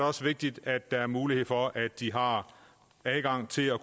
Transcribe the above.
også vigtigt at der er mulighed for at de har adgang til at